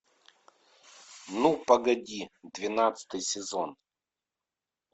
ну погоди двенадцатый сезон